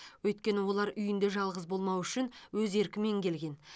өйткені олар үйінде жалғыз болмау үшін өз еркімен келген